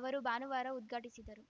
ಅವರು ಭಾನುವಾರ ಉದ್ಘಾಟಿಸಿದರು